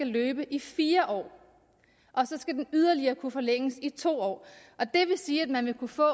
løbe i fire år og så skal den yderligere kunne forlænges i to år og det vil sige at man vil kunne få